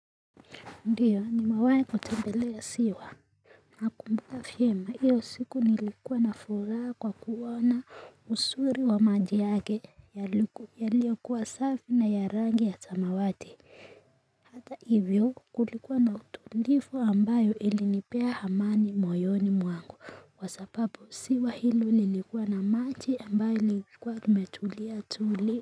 Ndiyo nimewahi kutembelea ziwa, nakumbuka vyema hiyo siku nilikuwa na furaha kwa kuona uzuri wa maji yake yaliyokuwa safi na ya rangi ya samawati hata hivyo kulikuwa na utulivu ambayo ilinipea amani moyoni mwangu kwa sababu ziwa hilo lilikuwa na maji ambayo yalikuwa yametulia tuli.